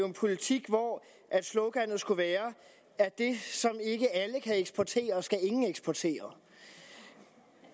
en politik hvor sloganet skulle være at det som ikke alle kan eksportere skal ingen eksportere